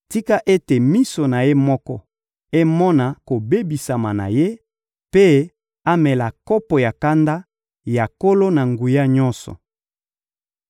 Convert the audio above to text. Tika ete miso na ye moko emona kobebisama na ye, mpe amela kopo ya kanda ya Nkolo-Na-Nguya-Nyonso.